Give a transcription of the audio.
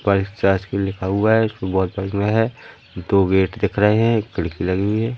Prize charge भी लिखा हुआ है दो गेट दिख रहे हैं एक खिड़की लगी हुई हैं।